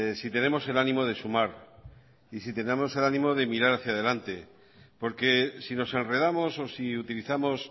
si tenemos el ánimo de sumar y si tenemos el ánimo de mirar hacia delante porque si nos enredamos o si utilizamos